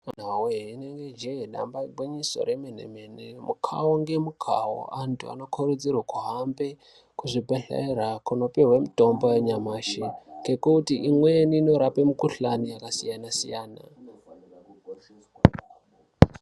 Awee inini ijee damba igwinyiso remene mene Mukawo ngemukawo antu anokurudzirwe kuhambe kuzvibhedhlera kopiwe mitombo yanyamashi ngekuti imweni inorape mikhuhlani yakasiyana siyana.